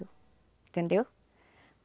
Entendeu?